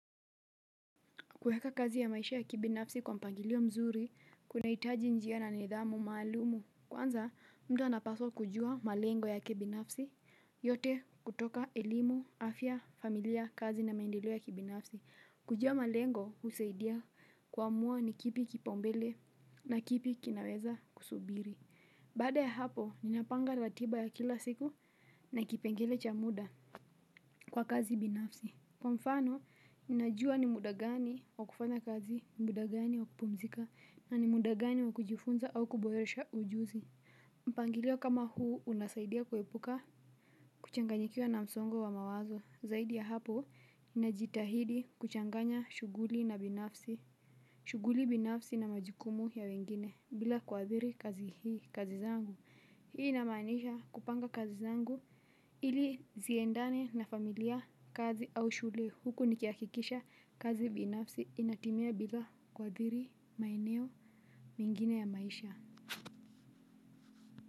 Kueka kazi ya maisha ya kibinafsi kwa mpangilio mzuri, kunahitaji njia na nidhamu maalumu. Kwanza, mtu anapaswa kujua malengo yake binafsi, yote kutoka elimu, afya, familia, kazi na maendeleo ya kibinafsi. Kujua malengo, husaidia kuamua ni kipi kipaumbele na kipi kinaweza kusubiri. Baada ya hapo, ninapanga ratiba ya kila siku na kipengele cha muda kwa kazi binafsi. Kwa mfano, ninajua ni muda gani wa kufanya kazi, muda gani wa kupumzika, na ni muda gani wa kujifunza au kuboresha ujuzi. Mpangilio kama huu unasaidia kuepuka kuchanganyikiwa na msongo wa mawazo. Zaidi ya hapo, ninajitahidi kuchanganya shughuli na binafsi. Shughuli binafsi na majukumu ya wengine, bila kuathiri kazi hii, kazi zangu. Hii inamaanisha kupanga kazi zangu ili ziendane na familia kazi au shule huku nikihakikisha kazi binafsi inatimia bila kuathiri maeneo mengine ya maisha.